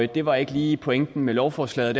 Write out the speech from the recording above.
det var ikke lige pointen med lovforslaget